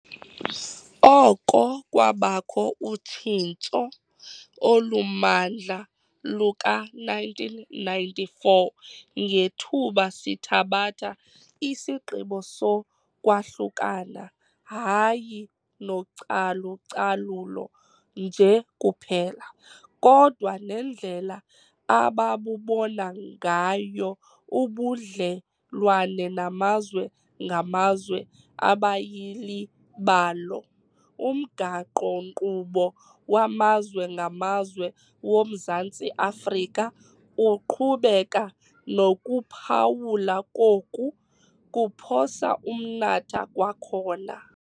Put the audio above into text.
Oko kwabakho utshintso olumandla luka-1994 ngethuba sithabatha isigqibo sokwahlukana hayi nocalu-calulo nje kuphela, kodwa nendlela ababubona ngayo ubudlelwane namazwe ngamazwe abayili balo, umgaqo-nkqubo wamazwe ngamazwe woMzantsi Afrika uqhubeka nokuphawulwa koku "kuphosa umnatha kwakhona".